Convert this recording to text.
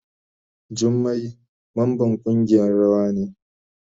Jummai mamban kungiyan rawa ne.